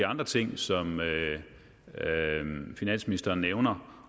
andre ting som finansministeren nævner